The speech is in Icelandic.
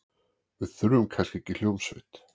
Við þurfum kannski ekki hljómsveit.